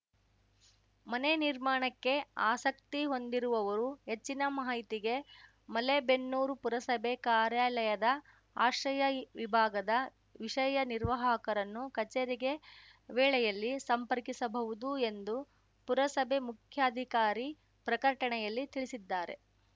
ಮನೆ ನಿರ್ಮಾಣಕ್ಕೆ ಆಸಕ್ತಿ ಹೊಂದಿರುವವರು ಹೆಚ್ಚಿನ ಮಾಹಿತಿಗೆ ಮಲೇಬೆನ್ನೂರು ಪುರಸಭೆ ಕಾರ್ಯಾಲಯದ ಆಶ್ರಯ ವಿಭಾಗದ ವಿಷಯ ನಿರ್ವಾಹಕರನ್ನು ಕಚೇರಿಗೆ ವೇಳೆಯಲ್ಲಿ ಸಂಪರ್ಕಿಸಬಹುದು ಎಂದು ಪುರಸಭೆ ಮುಖ್ಯಾಧಿಕಾರಿ ಪ್ರಕಟಣೆಯಲ್ಲಿ ತಿಳಿಸಿದ್ದಾರೆ